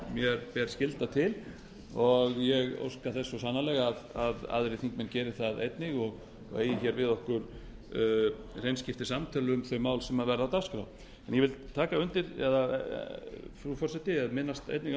mér ber skylda til ég óska þess svo sannarlega að aðrir þingmenn geri það einnig og eigi við okkur hreinskiptin samtöl um þau mál sem verða á dagskrá ég vil einnig minnast á